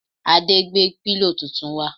Ade gbé pílò tuntun wá